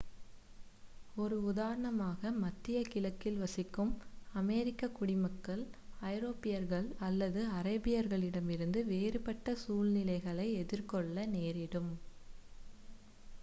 ஒரு உதாரணமாக மத்திய கிழக்கில் வசிக்கும் அமெரிக்க குடிமக்கள் ஐரோப்பியர்கள் அல்லது அரேபியர்களிடமிருந்து வேறுபட்ட சூழ்நிலைகளை எதிர்கொள்ள நேரிடும்